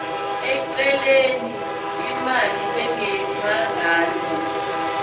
eceleni imali lengemarandi